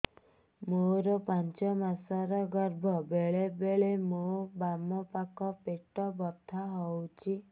ମୋର ପାଞ୍ଚ ମାସ ର ଗର୍ଭ ବେଳେ ବେଳେ ମୋ ବାମ ପାଖ ପେଟ ବଥା ହଉଛି